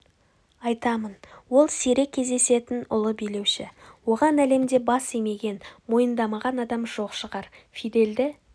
айтамын ол сирек кездесетін ұлы билеуші оған әлемде бас имеген мойындамаған адам жоқ шығар фидельді